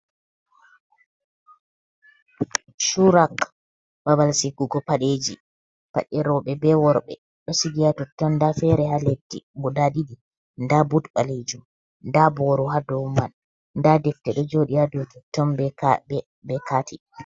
Shurk, babal sugugo paɗeji, paɗe rouɓe be worɓe ɗo Siga ha totton. nda fere ha leddi, guda ɗiɗi nada but ɓalejum, ada boro ha douman, nda defte ɗon joɗi ha dou nitton beka bekati